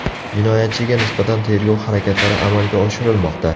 Jinoyatchiga nisbatan tergov harakatlari amalga oshirilmoqda.